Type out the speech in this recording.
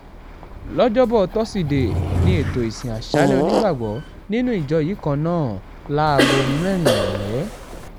lọ́jọ́bọ́ tọ́sídẹ̀ẹ́ ní ètò ìsìn aṣáálẹ̀ onígbàgbọ́ nínú ìjọ yìí kan náà láago mẹ́rin ìrọ̀lẹ́